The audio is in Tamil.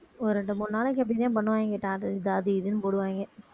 ஒரு ரெண்டு மூணு நாளைக்கு இப்படித்தான் பண்ணுவாங்க எதாவது அது இதுன்னு போடுவாயிங்க